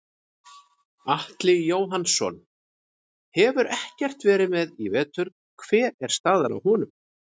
Atli Jóhannsson hefur ekkert verið með í vetur hver er staðan á honum?